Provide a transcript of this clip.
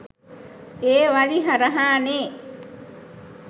ඒ වලි හරහා නෙ.